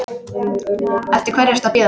Eftir hverju ertu að bíða?